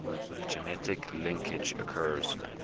genetic linkage occurs